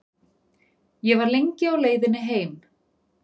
Ég var lengi á leiðinni heim.